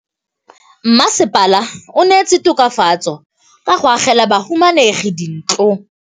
Mmasepala o neetse tokafatsô ka go agela bahumanegi dintlo.